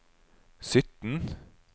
sytten